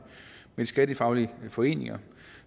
de skattefaglige foreninger